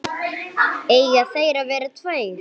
Eiga þeir að vera tveir?